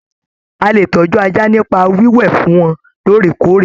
A lè tọjú ajá nipa wiwẹ fún wọn lóòrèkóòrè.